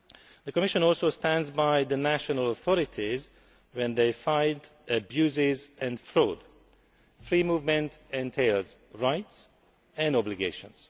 The Commission also stands by the national authorities when they fight abuse and fraud free movement entails rights and obligations.